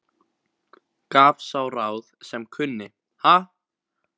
Gaf sá ráð sem kunni, ha!